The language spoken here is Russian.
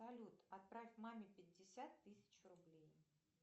салют отправь маме пятьдесят тысяч рублей